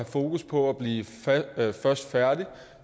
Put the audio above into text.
fokus på at blive først færdig